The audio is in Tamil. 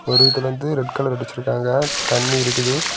ஒருர்ல இருந்து ரெட்கலர் அடிச்சிருக்காங்க தண்ணி இருக்குது.